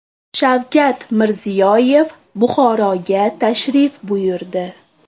Shavkat Mirziyoyev Buxoroga tashrif buyurdi .